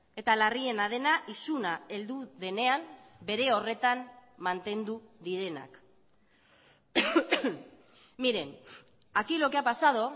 eta larriena dena isuna heldu denean bere horretan mantendu direnak miren aquí lo que ha pasado